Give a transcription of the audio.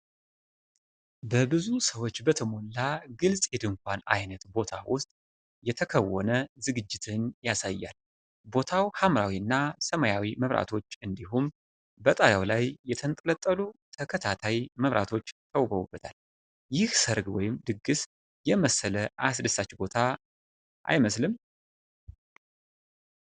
በብዙ ሰዎች በተሞላ ግልጽ የድንኳን አይነት ቦታ ውስጥ የተከናወነ ዝግጅትን ያሳያል። ቦታው ሐምራዊ እና ሰማያዊ መብራቶች እንዲሁም በጣሪያው ላይ የተንጠለጠሉ ተከታታይ መብራቶች ተውበውበታል፤ ይህ ሠርግ ወይም ድግስ የመሰለ አስደሳች ቦታ አይመስልም?